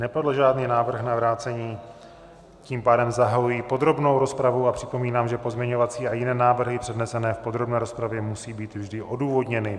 Nepadl žádný návrh na vrácení, tím pádem zahajuji podrobnou rozpravu a připomínám, že pozměňovací a jiné návrhy přednesené v podrobné rozpravě musí být vždy odůvodněny.